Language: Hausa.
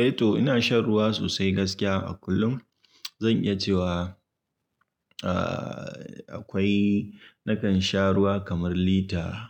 Eh to ina shan ruwa sosai gaskiya a kullum. Zan iya cewa, ahhh, akwai nakan sha ruwa kamar lita,